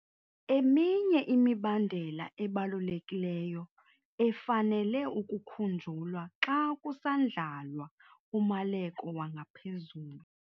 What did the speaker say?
Eminye imibandela ebalulekileyo efanele ukukhunjulwa xa kusandlalwa umaleko wangaphezulu